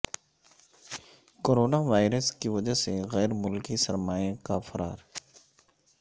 corona virus کی وجہ سے غیر ملکی سرمائے کا فرار